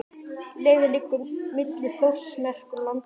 Leiðin liggur milli Þórsmerkur og Landmannalauga.